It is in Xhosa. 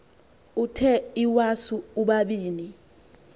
uthe iwasu ubabini